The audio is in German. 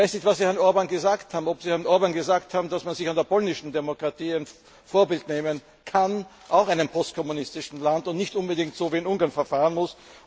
Ich weiß nicht, was Sie Herrn Orbán gesagt haben, ob Sie ihm gesagt haben, dass man sich an der polnischen Demokratie ein Vorbild nehmen kann auch ein postkommunistisches Land und nicht unbedingt so wie in Ungarn verfahren muss.